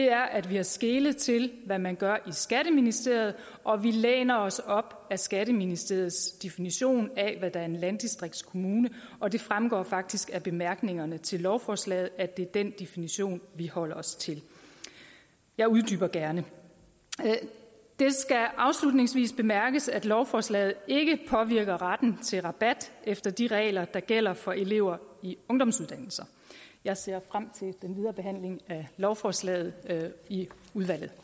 er at vi har skelet til hvad man gør i skatteministeriet og vi læner os op ad skatteministeriets definition af hvad der er en landdistriktskommune og det fremgår faktisk af bemærkningerne til lovforslaget at det er den definition vi holder os til jeg uddyber gerne det skal afslutningsvis bemærkes at lovforslaget ikke påvirker retten til rabat efter de regler der gælder for elever i ungdomsuddannelser jeg ser frem til den videre behandling af lovforslaget i udvalget